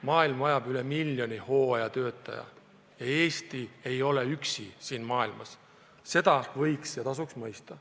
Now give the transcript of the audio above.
Maailm vajab üle miljoni hooajatöötaja ja Eesti ei ole siin üksi, seda võiks ja tasuks mõista.